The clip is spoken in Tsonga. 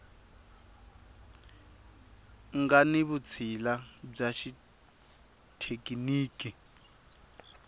nga ni vutshila bya xithekiniki